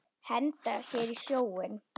Henda sér í sjóinn?